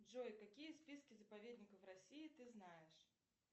джой какие списки заповедников россии ты знаешь